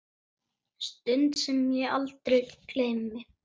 Stund sem ég aldrei gleymi.